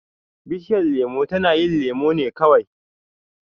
Bishiyar lemo tana yin lemo ne kawai.